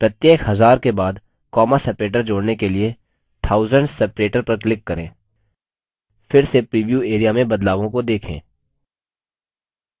प्रत्येक हज़ार के बाद comma separator जोड़ने के लिए thousands separator पर click करें फिर से प्रीव्यू area में बदलावों को देखें